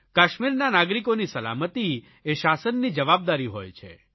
કાશ્મીરના નાગરિકોની સલામતિ એ શાસનની જવાબદારી હોય છે